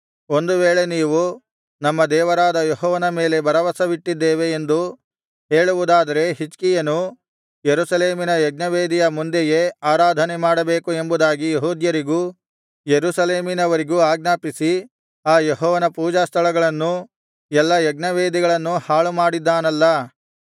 ಒಂದು ವೇಳೆ ನೀವು ನಮ್ಮ ದೇವರಾದ ಯೆಹೋವನ ಮೇಲೆ ಭರವಸವಿಟ್ಟಿದ್ದೇವೆ ಎಂದು ಹೇಳುವುದಾದರೆ ಹಿಜ್ಕೀಯನು ಯೆರೂಸಲೇಮಿನ ಯಜ್ಞವೇದಿಯ ಮುಂದೆಯೇ ಆರಾಧನೆಮಾಡಬೇಕು ಎಂಬುದಾಗಿ ಯೆಹೂದ್ಯರಿಗೂ ಯೆರೂಸಲೇಮಿನವರಿಗೂ ಆಜ್ಞಾಪಿಸಿ ಆ ಯೆಹೋವನ ಪೂಜಾಸ್ಥಳಗಳನ್ನೂ ಎಲ್ಲಾ ಯಜ್ಞವೇದಿಗಳನ್ನೂ ಹಾಳುಮಾಡಿದ್ದಾನಲ್ಲಾ